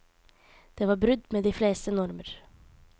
Det var brudd med de fleste normer.